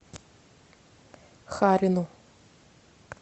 харину